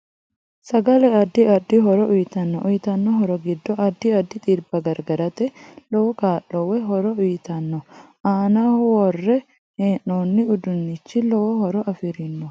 Sagale addi addi horo uyiitanno uyiitanno horo giddo addi addi xibba gargarate lowo kaa'lo woy horo uyiitanno aanaho worre heenooni uduunichi lowo horo afirinoho